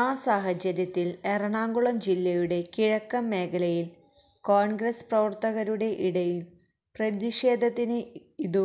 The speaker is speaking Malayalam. ആ സാഹചര്യത്തിൽ എറണാകുളം ജില്ലയുടെ കിഴക്കൻ മേഖലയിൽ കോൺഗ്രസ് പ്രവർത്തകരുടെ ഇടയിൽ പ്രതിഷേധത്തിന് ഇതു